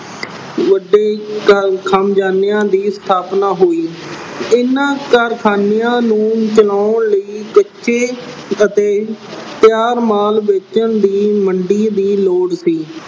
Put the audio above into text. ਵੱਡੇ ਕਾਰਖਾਨਿਆਂ ਅਹ ਦੀ ਸਥਾਪਨਾ ਹੋਈ। ਇਹਨਾਂ ਕਾਰਖਾਨਿਆਂ ਨੂੰ ਬਣਾਉਣ ਲਈ ਕੱਚੇ ਅਤੇ ਤਿਆਰ ਮਾਲ ਵੇਚਣ ਲਈ ਮੰਡੀ ਦੀ ਲੋੜ ਸੀ।